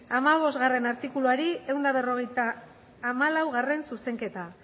hamabostgarrena artikuluari ehun eta berrogeita hamalau zuzenketa